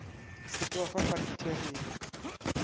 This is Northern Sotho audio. se ke wa fa pakteria